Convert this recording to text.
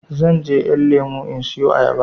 Zanje ƴan lemo in siyo ayaba